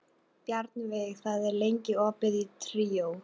Bjarnveig, hvað er lengi opið í Tríó?